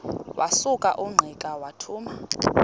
wasuka ungqika wathuma